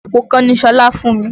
Àpò kan ni Ṣọlá fún mi.